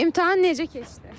İmtahan necə keçdi?